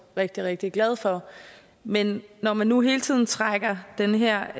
rigtig rigtig glad for men når man nu hele tiden trækker den her